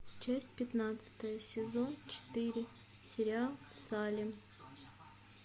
часть пятнадцатая сезон четыре сериал салем